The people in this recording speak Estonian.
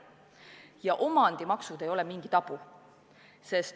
Ja omandimaksud ei ole mingi tabu.